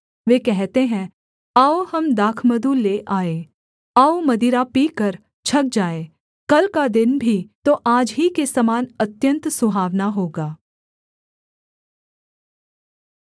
वे कहते हैं आओ हम दाखमधु ले आएँ आओ मदिरा पीकर छक जाएँ कल का दिन भी तो आज ही के समान अत्यन्त सुहावना होगा